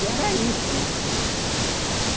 E era isso, né?